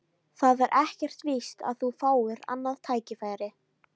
Það er ekkert víst að þú fáir annað tækifæri